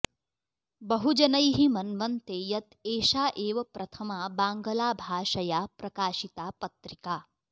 बहुजनैः मन्वन्ते यत् एषा एव प्रथमा बाङ्गलाभाषया प्रकाशिता पत्रिका